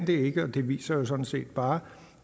det ikke og det viser jo sådan set bare